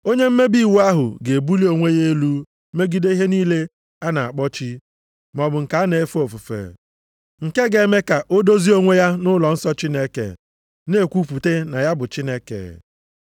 Onye mmebi iwu ahụ ga-ebuli onwe ya elu megide ihe niile a na-akpọ chi maọbụ nke a na-efe ofufe, nke ga-eme ka o dozie onwe ya nʼụlọnsọ Chineke, na-ekwupụta na ya bụ Chineke.